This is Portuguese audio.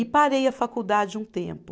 E parei a faculdade um tempo.